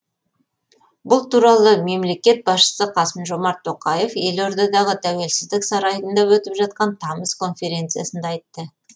бұл туралы мемлекет басшысы қасым жомарт тоқаев елордадағы тәуелсіздік сарайында өтіп жатқан тамыз конференциясында айтты